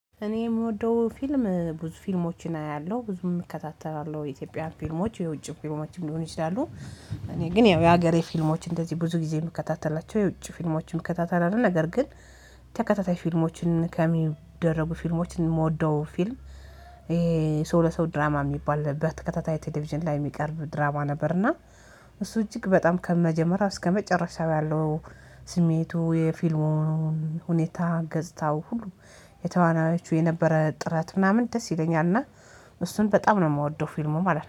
እኔ የምወደው ፊልም ብዙ ፊልሞችን አያለሁ ብዙም እከታተላለሁ የኢትዮጵያ ፊልሞች የውጭ ፊልሞችን ሊሆን ይችላሉ። እኔ ግን ያው የሀገሬ ፊልሞች እንደዚህ ብዙ ጊዜ የምከታተላቸው የውጭ ፊልሞችም እከታተላለሁ ነገር ግን ተከታታይ ፊልሞችን ከሚደረጉ ፊልሞችን የምወደው ፊልም። ይሄ ሰው ለሰው ድራማ የሚባል በተከታታይ ቴሌቪዥን ላይ የሚቀርብ ድራማ ነበርና። እሱ እጅግ በጣም ከመጀመሪያ እስከመጨረሻው ያለው ስሜቱ የፊልሙን ሁኔታ ገጽታው ሁሉ የተዋናዮቹ የነበረ ጥረት ምናምን ደስ ይለኛልና። እሱን በጣም ነው የምወደው ፊልሙ ማለት ነው